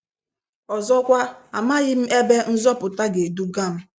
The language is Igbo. Ọzọkwa, amaghị m ebe nzọpụta ga edugam.